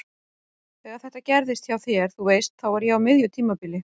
Þegar þetta gerðist hjá þér. þú veist. þá var ég á miðju tímabili.